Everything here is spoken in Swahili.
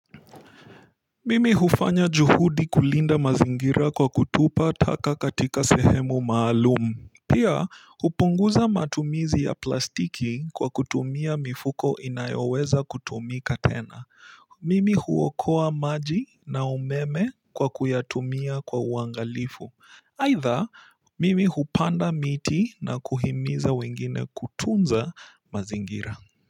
Mimi hufanya juhudi kulinda mazingira kwa kutupa taka katika sehemu maalum pia hupunguza matumizi ya plastiki kwa kutumia mifuko inayoweza kutumika tena. Mimi huokoa maji na umeme kwa kuyatumia kwa uangalifu. Aidha mimi hupanda miti na kuhimiza wengine kutunza mazingira.